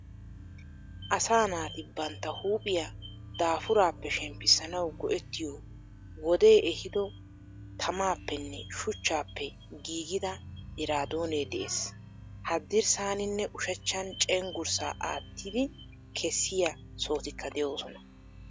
Asaa naati bantta huuphpiya daafurappe shemppisanawu go"etiyo wodee ehiido taamappenne shuchchappe giigida iraadone de"ees. Haadirssaninne ushshan cenggurssa attidi keessiya sohotikka de"osona.